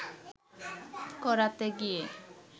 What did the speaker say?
করাতে গিয়ে